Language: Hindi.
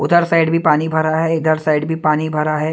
उधर साइड भी पानी भरा है इधर साइड भी पानी भरा है।